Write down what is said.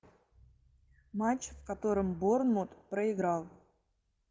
матч в котором борнмут проиграл